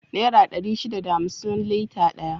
Nera dari shida da hamsin lita daya